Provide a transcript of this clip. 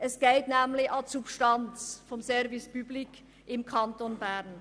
Es geht nämlich an die Substanz des Service public im Kanton Bern.